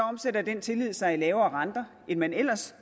omsætter den tillid sig i lavere renter end man ellers